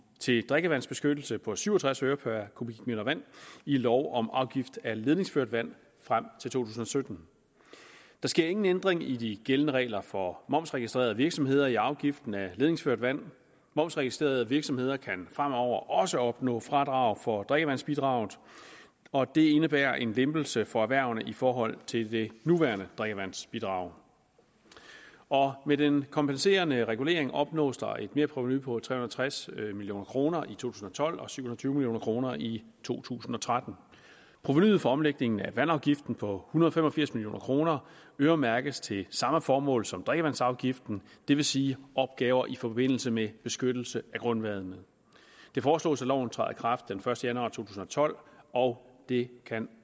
til drikkevandsbeskyttelse på syv og tres øre per kubikmeter vand i lov om afgift af ledningsført vand frem til to tusind og sytten der sker ingen ændring i de gældende regler for momsregistrerede virksomheder for afgiften af ledningsført vand momsregistrerede virksomheder kan fremover også opnå fradrag for drikkevandsbidraget og det indebærer en lempelse for erhvervene i forhold til det nuværende drikkevandsbidrag med den kompenserende regulering opnås der er et merprovenu på tre hundrede og tres million kroner i to tusind og tolv og syv hundrede og tyve million kroner i to tusind og tretten provenuet fra omlægningen af vandafgiften på hundrede og fem og firs million kroner øremærkes til samme formål som drikkevandsafgiften det vil sige opgaver i forbindelse med beskyttelse af grundvandet det foreslås at loven træder i kraft den første januar to tusind og tolv og det kan